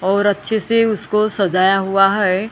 और अच्छे से उसको सजाया हुआ है।